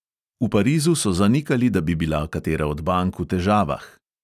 V parizu so zanikali, da bi bila katera od bank v težavah.